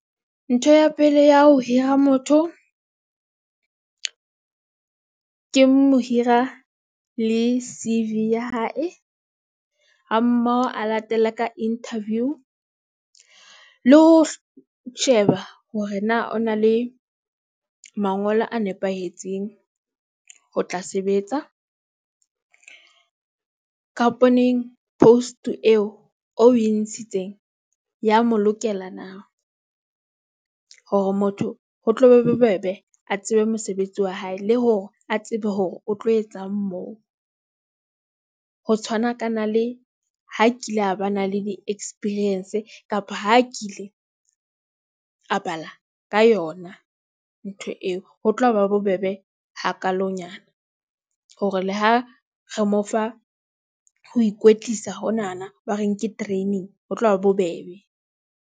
Ntho ya pele ya ho hira motho, ke mohira le C_V ya hae, ha mmoho a latele ka interview, le ho sheba hore na o na le mangolo a nepahetseng ho tla sebetsa. Ka post-e eo o e ntshitseng, e ya mo lokela na? Hore motho ho tlo be bobebe, a tsebe mosebetsi wa hae le hore a tsebe hore o tlo etsang moo. Ho tshwanakana le ha a kile a ba na le di-experience kapa ha a kile a bala ka yona ntho eo, ho tla ba bobebe hakalonyana, hore le ha re mo fa ho ikwetlisa honana, ba reng ke training, ho tlo ba bobebe.